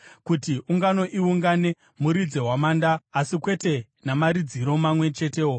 Kuti ungano iungane, muridze hwamanda, asi kwete namaridziro mamwe chetewo.